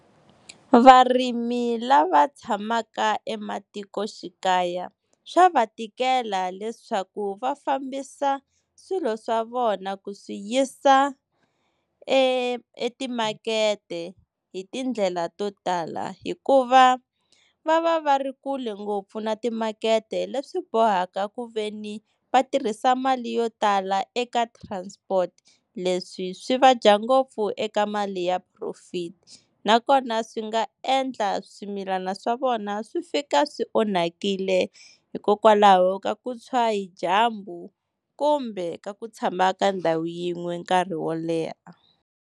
Varimi lava tshamaka ematikoxikaya swa va tikela leswaku va fambisa swilo swa vona ku swi yisa e etimakete hi tindlela to tala, hikuva va va va ri kule ngopfu na timakete leswi bohaka ku veni va tirhisa mali yo tala eka transport. Leswi swi va dya ngopfu eka mali ya profit, nakona swi nga endla swimilana swa vona swi fika swi onhakile hikokwalaho ka ku tshwa hi dyambu kumbe ka ku tshama ka ndhawu yin'we nkarhi wo leha.